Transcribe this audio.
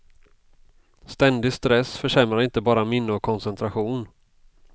Ständig stress försämrar inte bara minne och koncentration.